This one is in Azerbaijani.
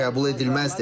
Bu qəbul edilməzdir.